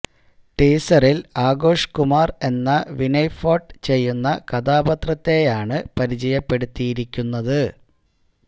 ടീസറില് ആഘോഷ് കുമാര് എന്ന വിനയ് ഫോര്ട്ട് ചെയ്യുന്ന കഥാപാത്രത്തെയാണ് പരിചയപ്പെടുത്തിയിരിക്കുന്നത്